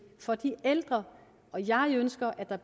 for de ældre og jeg ønsker at der